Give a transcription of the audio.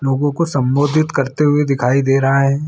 लोगों को संबोधित करते हुए दिखाई दे रहा है।